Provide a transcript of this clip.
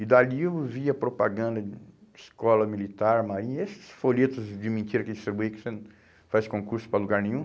E dali eu vi a propaganda de escola militar, marinha, esses folhetos de mentira que eles distribuem, que você faz concurso para lugar nenhum.